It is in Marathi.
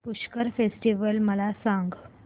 पुष्कर फेस्टिवल मला सांग